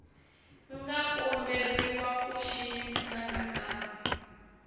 nga komberiwa ku xiyisisisa nakambe